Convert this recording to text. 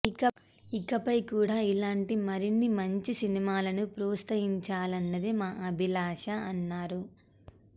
ఇకపై కూడా ఇలాంటి మరిన్ని మంచి సినిమాలను ప్రోత్సహించాలన్నదే మా అభిలాష అన్నారు